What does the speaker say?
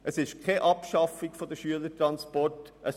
Es ist keine Abschaffung der Schülertransporte.